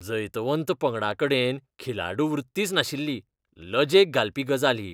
जैतवंत पंगडाकडेन खिलाडू वृत्तीच नाशिल्ली, लजेक घालपी गजाल ही.